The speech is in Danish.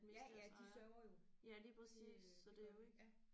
Ja ja de sørger jo det øh det gør de ja